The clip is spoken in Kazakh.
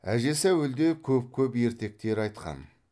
әжесі әуелде көп көп ертектер айтқан